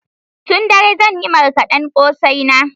Tun dare zan yi marƙaden kosai na